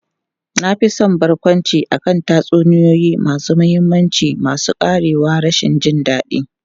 Na fi son barkwanci akan tatsuniyoyi masu mahimmanci masu ƙarewar rashin jin daɗi.